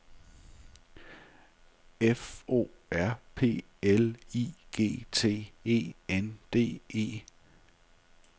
F O R P L I G T E N D E